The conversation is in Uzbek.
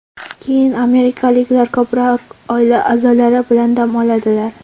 Keyin amerikaliklar ko‘proq oila a’zolari bilan dam oladilar.